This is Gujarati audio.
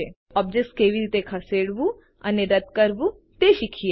હવે ઓબ્જેક્ટ કેવી રીતે ખસેડવું અને રદ કરવું તે શીખીએ